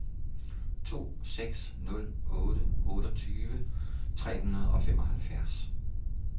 to seks nul otte otteogtyve tre hundrede og femoghalvfjerds